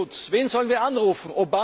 beim Klimaschutz wen sollen wir anrufen?